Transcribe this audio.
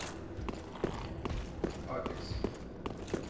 апекс